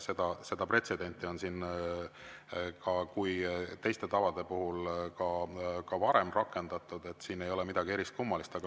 Seda pretsedenti on siin ka teiste tavade puhul varem rakendatud, siin ei ole midagi eriskummalist.